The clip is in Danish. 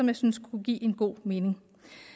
jeg synes det kunne give god mening